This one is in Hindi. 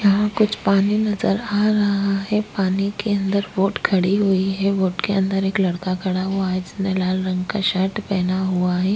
यहाँ कुछ पानी नजर आ रहा है पानी के अंदर बोट खड़ी हुई है बोट के अंदर एक लड़का खड़ा हुआ है जिसने लाल रंग का एक शर्ट पहना हुआ है।